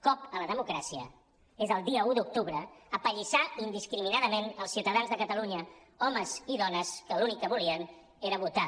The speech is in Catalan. cop a la democràcia és el dia un d’octubre apallissar indiscriminadament els ciutadans de catalunya homes i dones que l’únic que volien era votar